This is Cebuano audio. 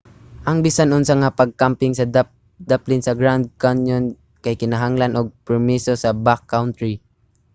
ang bisan unsa nga pagkamping sa daplin sa grand canyon kay kinahanglan og permiso sa backcountry